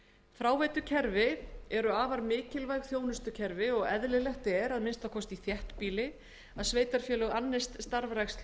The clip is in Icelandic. fráveitukerfi eru afar mikilvæg þjónustukerfi og eðlilegt er að minnsta kosti í þéttbýli að sveitarfélög annist starfrækslu